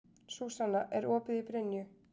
Súsanna, er opið í Brynju?